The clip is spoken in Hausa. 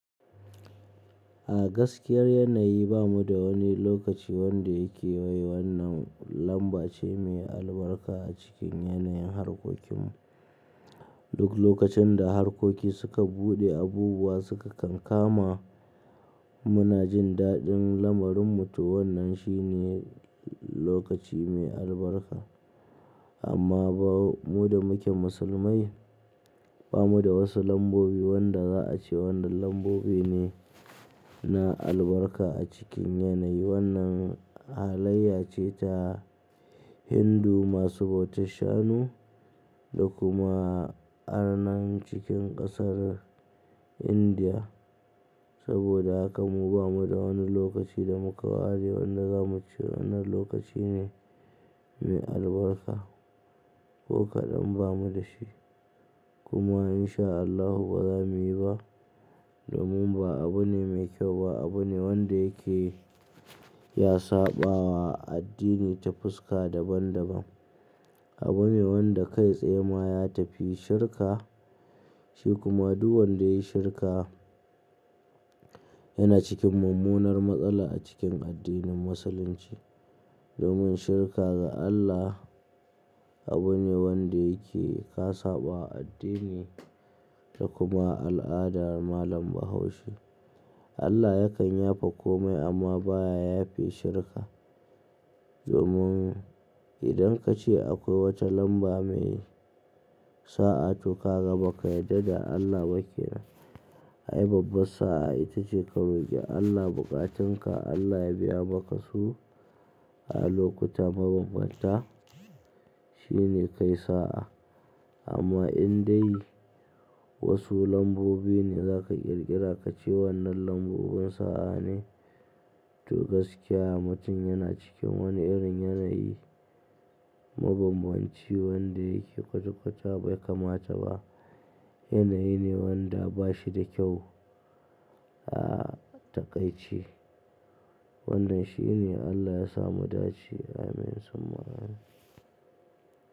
A gaskiyar yanayi bamu da wani lokaci wanda yake wai wannan lambace mai albarka acikin yanayin harkokinmu. Duk lokacin da harkoki suka buɗe, abubuwa suka kankama, munajin daɗin lamarinmu to wannan shine lokaci mai albarka. Amma ba mu da muke musulmai, bamu da wasu lambobi wanda za'ace wannan lambobi ne na albarka a cikin yanayi. Wannan halayya ce ta Hindu masu bautar shanu da kuma arnan cikin ƙasar India. Saboda haka mu bamu da wani lokaci da muka ware wanda zamu ce wannan lokacine mai albarka ko kaɗan bamu dashi. Kuma insha Allahu baza muyi ba, domin ba abune mai kyau ba, abune wanda yake ya saɓawa addini ta fuska daban daban. Abune wanda kai tsaye ma ya tafi shirka. Shi kuma duk wanda ya yi shirka yana cikin mummunar matsala acikin addinin musulunci. Domin shirka ga Allah. Abune wanda yake ka sabawa addini. Da kuma al'adar malam bahaushe. Allah yakan yafe komai amma baya yafe shirka. Domin idan ka ce akwai wata lamba mai sa'a to kaga baka yadda da Allah ba kenan. Ai babbar sa'a itace ka roki Allah bukatunka Allah ya biya maka su a lokuta mabanbanta. Shine kai sa'a. Amma in dai wasu lambobi ne za ka ƙirƙira ka ce wannan lambobin sa'a ne, to gaskiya mutum yana cikin wani irin yanayi mabambanci wanda yake kwata-kwata bai kamata ba. Yanayi ne wanda bashi da kyau a taƙaice. Wannan shine Allah yasa mudace. Amin. Summa Amin.